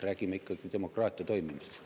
Räägime ikkagi demokraatia toimimisest.